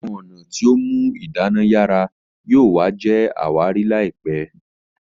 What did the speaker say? Àwọn ọnà tíó mú idana yara yóò wa jé àwárí láìpé